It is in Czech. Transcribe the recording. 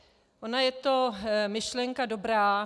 Ona je to myšlenka dobrá.